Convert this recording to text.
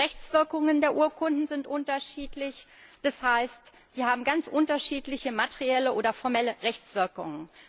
Die Rechtswirkungen der Urkunden sind unterschiedlich, das heißt, sie haben ganz unterschiedliche materielle oder formelle Rechtswirkungen.